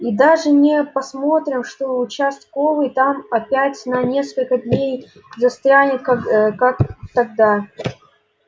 и даже не посмотрим что участковый там опять на несколько дней застрянет как тогда